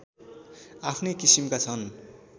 आफ्नै किसिमका छन्